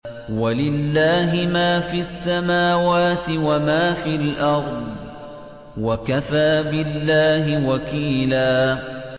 وَلِلَّهِ مَا فِي السَّمَاوَاتِ وَمَا فِي الْأَرْضِ ۚ وَكَفَىٰ بِاللَّهِ وَكِيلًا